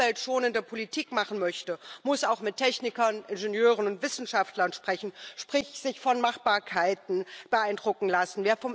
Wer umweltschonende Politik machen möchte, muss auch mit Technikern, Ingenieuren und Wissenschaftlern sprechen, sprich sich von Machbarkeiten beeindrucken lassen.